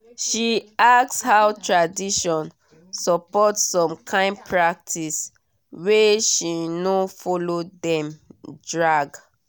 she ask how tradition support some kyn practiceshe no follow dem drag